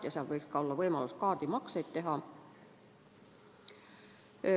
Ja seal võiks ka olla võimalus kaardimakseid teha.